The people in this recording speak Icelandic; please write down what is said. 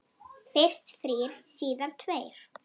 Fyrst þrír, síðar tveir.